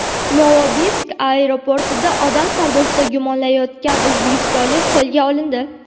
Novosibirsk aeroportida odam savdosida gumonlanayotgan o‘zbekistonlik qo‘lga olindi.